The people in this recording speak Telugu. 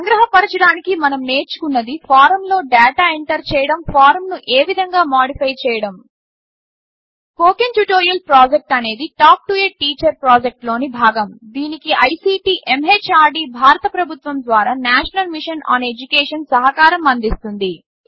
సంగ్రహపరచడానికి మనం నేర్చుకున్నది ఫారమ్లో డాటా ఎంటర్ చేయడం ఫారమ్ను ఏ విధంగా మాడిఫై చేయడం స్పోకెన్ ట్యుటోరియల్ ప్రాజెక్ట్ అనేది talk to a teacher project లోని భాగము దీనికి ఐసీటీ ఎంహార్డీ భారత ప్రభుత్వం ద్వారా నేషనల్ మిషన్ ఆన్ ఎడ్యుకేషన్ సహకారం అందిస్తోంది